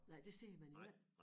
Nej det ser man jo ikke